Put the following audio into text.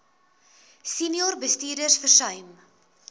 senior bestuurders versuim